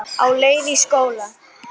Á leið í skóla.